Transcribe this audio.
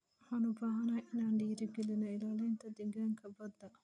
Waxaan u baahanahay inaan dhiirigelino ilaalinta deegaanka badda.